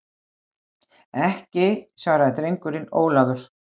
Ekki, svaraði drengurinn Ólafur.